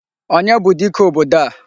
Onye bụ dike obodo a?